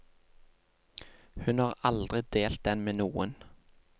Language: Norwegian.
Hun har aldri delt den med noen.